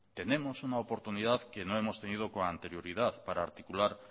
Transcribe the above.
tenemos una oportunidad que no hemos tenido con anterioridad para articular